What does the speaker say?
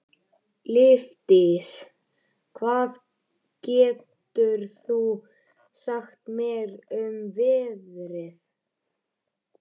Lífdís, hvað geturðu sagt mér um veðrið?